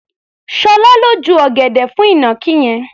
Ṣọlá ló ju ọ̀gẹ̀dẹ̀ fún ìnàkí yẹn.